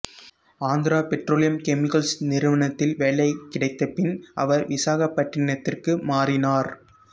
Andhra petroleum chemicals நிறுவனத்தில் வேலை கிடைத்தபின் அவர் விசாகப்பட்டினத்திற்கு மாறினார்